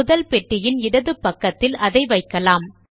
முதல் பெட்டியின் இடது பக்கத்தில் அதை வைக்கலாம்